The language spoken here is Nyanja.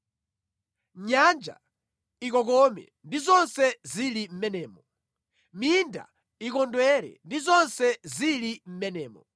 Nyanja ikokome, ndi zonse zili mʼmenemo; minda ikondwere, ndi zonse zili mʼmenemo!